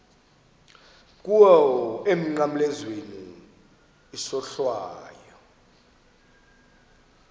kuwe emnqamlezweni isohlwayo